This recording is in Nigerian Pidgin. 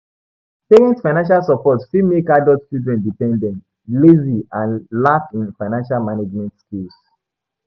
Parents' financial support fit make adult children dependent, lazy and lack in financial management skills.